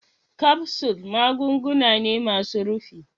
kapsul magunguna ne masun rufi.